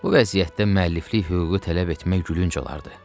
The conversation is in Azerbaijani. Bu vəziyyətdə müəlliflik hüququ tələb etmək gülünc olardı.